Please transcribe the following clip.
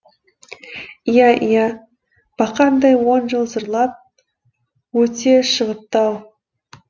иә иә бақандай он жыл зырлап өте шығыпты ау